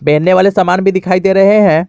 एने वाले सामान भी दिखाई दे रहे हैं।